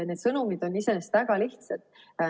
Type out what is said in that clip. Need sõnumid on iseenesest väga lihtsad.